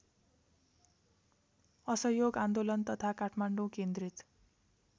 असहयोग आन्दोलन तथा काठमाडौँ केन्द्रित